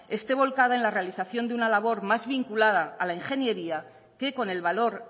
esté volcado en la realización de una labor más vinculada a la ingeniería que con el valor